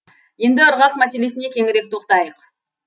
енді ырғақ мәселесіне кеңірек тоқтайық